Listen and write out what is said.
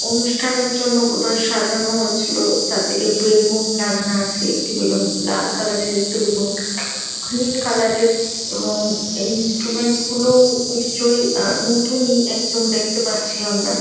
অনুষ্ঠানের জন্য বধই সাজানো আছিল চারদিকে বেলুন লাগানো আছে একটি বেলুন লাল কালার -এর একটি বেলুন গ্রীন কালার -এর এবং এই ইনস্ট্রুমেন্ট গুলো নিশ্চই আ নতুন-ই একদম দেখতে পাচ্ছি আমরা ।